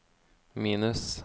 minus